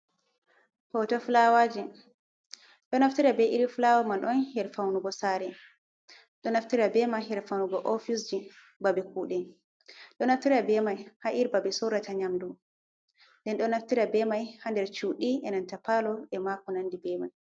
Hoto flawaji ɗo nafitara be iri fulawa man on ha faunugo sare, ɗo nafitara bei mai har faunugo ofisji babe kuɗe ɗo naftira bemai ha’irin babe sorrata nyamdu, ɗon do nafitara bemai ha nder cuɗi inan ta palo ema konandi be mai.